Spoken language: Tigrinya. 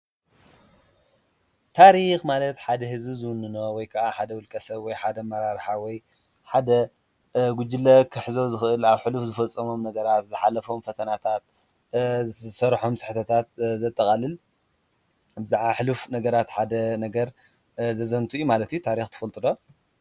ታሪክ ማለት ሐደ ህዝቢ ዝውንኖ ወይ ከዓ ሐደ ውልቀ ሰብ ወይ ሐደ ኣመራርሓ ወይ ሐደ ጉጅለ ክሕዞ ዝክእል ኣብ ሕሉፍ ዝፈፀሞም ነገራት፤ ዝሓለፎም ፈተናታት፤ ዝሰርሖም ስሕተታት ዘጠቃልል፤ ብዛዕባ ሕሉፍ ነገራት ሐደ ነገር ዘዘንቱ እዩ ማለት እዩ። ታሪክ ተፈልጡ ዶ?